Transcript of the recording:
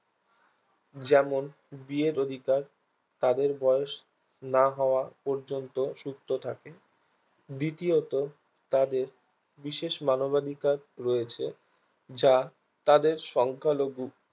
যেমন বিয়ের অধিকার তাদের বয়স না হওয়া পর্যন্ত সুস্থ থাকে দ্বিতীয়ত তাদের বিশেষ মানবাধিকার রয়েছে যা তাদের সংখ্যালঘু